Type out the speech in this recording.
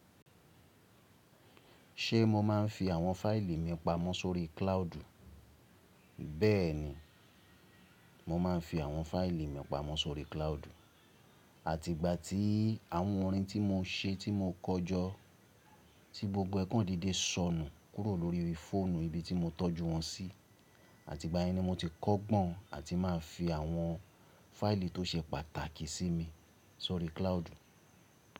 Ṣé mo máa ń fi àwọn fáìlì mi pamọ́ sórí cloud? Bẹ́ẹ̀ni, mo máa ń fi àwọn fáìlì mi pamọ́ sórí cloud. Àti ìgbà tí àwọn orin tí mo ṣe tí mo kọ jọ, tí gbogbo ẹ kọ́ dédé sọnù kúrò lórí fóònù ibi tí mo tọ́jú wọn sí. Àti ìgbà yìí ni mo ti kọ́gbọ́n àti máa ń fi àwọn fáìlì tó ṣe pàtàkì sí mi sórí cloud.